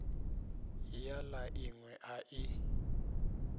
ya la inwe a i